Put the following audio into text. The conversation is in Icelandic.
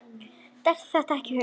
Dettur það ekki í hug.